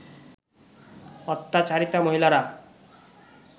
অত্যাচারিতা মহিলারা